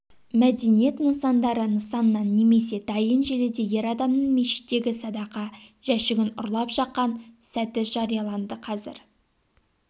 мәдениет нысандары нысаннан немесе дайын желіде ер адамның мешіттегі садақа жәшігін ұрлап жақан сәті жарияланды қазір